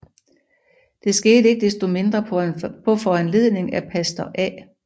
Det skete ikke desto mindre på foranledning af pastor A